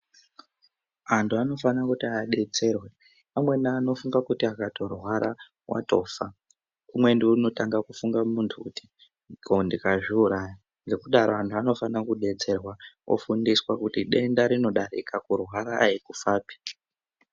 Andu anofana kuti abetserwe amweni andu anofunga kuti akatorwara watofa umweni unotanga kufunga mundu kuti koo ndikazviuraya ngokudaro wandu wanofana kubetserwa ofundiswe kuti denda rinodarika kurwara handi kufa pi.